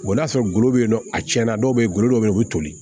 I b'a sɔrɔ golo bɛ yen nɔ a tiɲɛna dɔw bɛ ye golo dɔ bɛ yen o bɛ toli